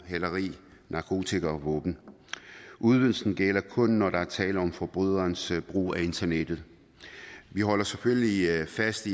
hæleri narkotika og våben udvidelsen gælder kun når der er tale om forbryderens brug af internettet vi holder selvfølgelig fast